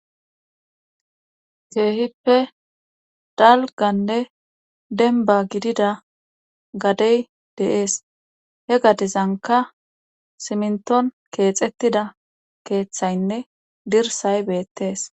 Keehippe dalganne denba gidida gadey deees he gadezanka simnton keexettida keeththaynne dirsay beettees.